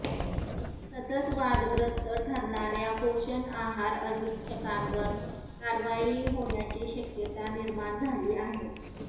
सतत वादग्रस्त ठरणार्या पोषण आहार अधीक्षकांवर कारवाई होण्याची शक्यता निर्माण झाली आहे